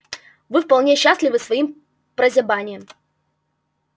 вы вполне счастливы своим прозябанием